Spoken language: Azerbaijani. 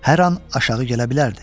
Hər an aşağı gələ bilərdi.